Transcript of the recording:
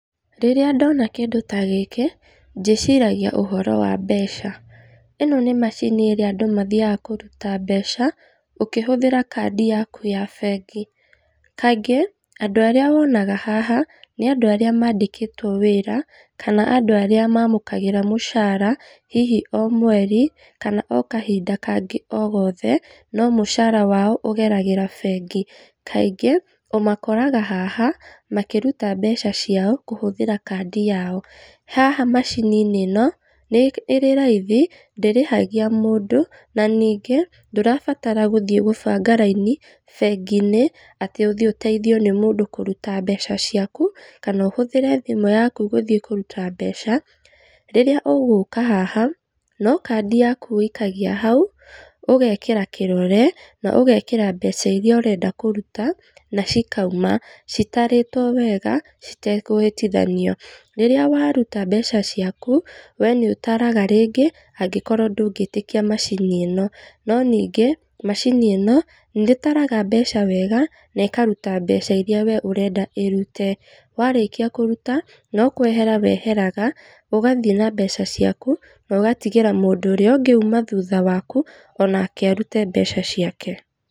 Rĩrĩa ndoona kĩndũ ta gĩkĩ, ndĩciragia ũhoro wa mbeca. Ĩno nĩ macini ĩrĩa andũ mathiaga kũruta mbeca, ũkĩhũthĩra kadi yaku ya bengi. Kaingĩ, andũ arĩa wonaga haha, nĩ andũ arĩa mandĩkĩtwo wĩra, kana andũ arĩa mamũkagĩra mũcaara hihi o mweri, kana kahinda kangĩ o gothe, no mũcaara wao ũgeragĩra o bengi. Kaingĩ, ũmakoraga haha, makĩruta mbeca ciao, kũhũthĩra kadi yao. Haha macini-inĩ ĩno, nĩ ĩrĩ raithi, ndĩrĩhagia mũndũ na nĩngĩ, ndũrabatara gũthiĩ gũbanga raini bengi-inĩ atĩ ũthiĩ ũteithio nĩ mũndũ kũruta mbeca ciaku, kana ũhũthĩre thimũ yaku gũthiĩ kũruta mbeca. Rĩrĩa ũgũka haha, no kadi yaku ũikagia hau, ũgekĩra kĩrore na ugekĩra mbeca iria ũrenda kũruta, na cikauma, citarĩtwo weega, citekũhĩtithanio. Rĩrĩa waruta mbeca ciaku, we nĩũtaraga rĩngĩ, angĩkorwo ndũngĩtĩkia macini ĩno, no ningĩ macini ĩno, nĩĩtaraga mbeca weega, na ĩkaruta mbeca iria we ũrenda ĩrute. Warĩkia kũruta, no kwehera weheraga, ũgathiĩ na mbeca ciaku, nogatigĩra mũndũ ũrĩa ũngĩ uuma thutha waku, onake arute mbeca ciake.